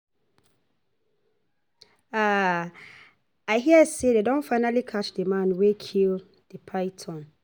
um I hear say dey don finally catch the man wey kill the python